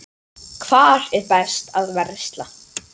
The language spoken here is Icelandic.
Hvar er best að versla?